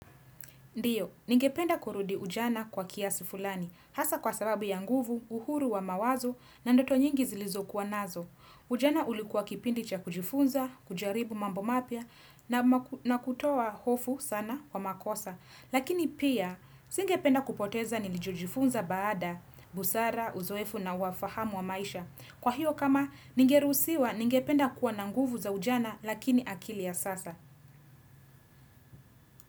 Ndio, ningependa kurudi ujana kwa kiasi fulani. Hasa kwa sababu ya nguvu, uhuru wa mawazo, na ndoto nyingi zilizokuwa nazo. Ujana ulikuwa kipindi cha kujifunza, kujaribu mambo mapya na kutoa hofu sana wa makosa. Lakini pia, singependa kupoteza nilichojifunza baada, busara, uzoefu na ufahamu wa maisha. Kwa hiyo kama, ningeruhusiwa ningependa kuwa na nguvu za ujana lakini akili ya sasa.